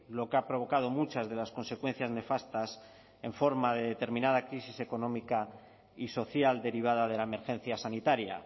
lo que ha provocado muchas de las consecuencias nefastas en forma de determinada crisis económica y social derivada de la emergencia sanitaria